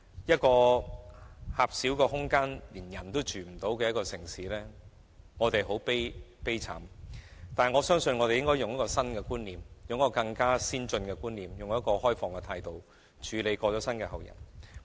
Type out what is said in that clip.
這個狹小得連人亦容不下的城市，我們真的很悲慘，但我相信只要引入新的或更先進的觀念，並抱持開放的態度，便可以處理龕位的問題。